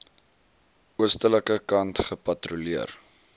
oostelike kant gepatrolleer